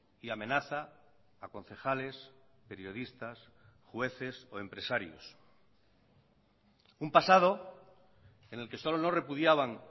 y amenaza a concejales periodistas jueces o empresarios un pasado en el que solo no repudiaban